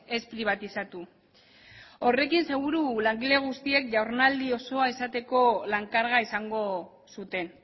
ez pribatizatu horrekin seguru langile guztiek jardunaldi osoa izateko lan karga izango zuten